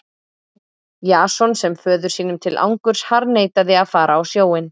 Jason sem föður sínum til angurs harðneitaði að fara á sjóinn.